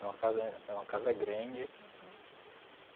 Era uma casa é uma casa grande. Uhum.